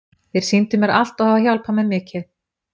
Þeir sýndu mér allt og hafa hjálpað mér mikið.